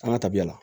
An ka tabiya